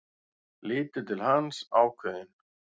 Lítur til hans, ákveðin.